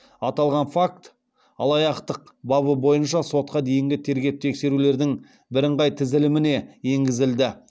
аталған факт алаяқтық бабы бойынша сотқа дейінгі тергеп тексерулердің бірыңғай тізіліміне енгізілді